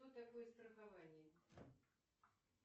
что такое страхование